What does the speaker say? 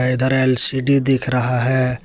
इधर एल_सी_डी दिख रहा है।